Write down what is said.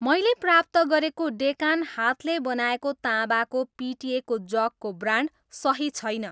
मैले प्राप्त गरेको डेकान हातले बनाएको ताँबाको पिटिएको जगको ब्रान्ड सही छैन